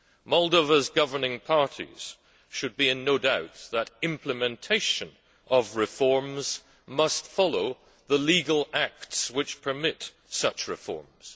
Moldova's governing parties should be in no doubt that implementation of reforms must follow the legal acts which permit such reforms.